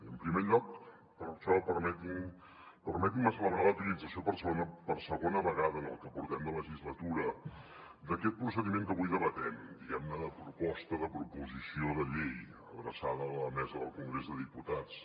en primer lloc per això permetin me celebrar la utilització per segona vegada en el que portem de legislatura d’aquest procediment que avui debatem diguem ne de proposta de proposició de llei adreçada a la mesa del congrés dels diputats